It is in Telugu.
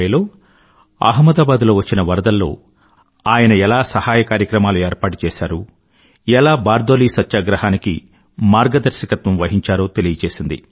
1920లో అహ్మదాబాద్ లో వచ్చిన వరదల్లో ఆయన ఎలా సహాయ కార్యక్రమాల ఏర్పాటు చేసారు ఎలా బార్దోలీ సత్యాగ్రహానికి మార్గదర్శకత్వం వహించారో తెలిపింది